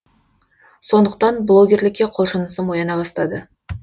сондықтан блогерлікке құлшынысым ояна бастады